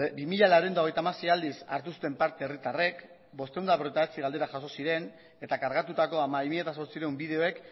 bi mila laurehun eta hogeita hamasei aldiz hartu zuten parte herritarrek bostehun eta berrogeita bederatzi galdera jaso ziren eta kargatutako hamabi mila zortziehun bideoek